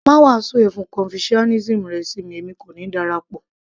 má wàásù ẹ̀sìn confucianism rẹ fún mi èmi kò ní darapọ̀